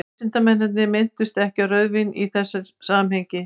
vísindamennirnir minntust ekki á rauðvín í þessu samhengi